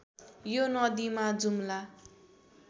यो नदीमा जुम्ला